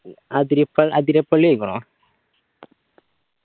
Athirappilly പോയിക്കിണോ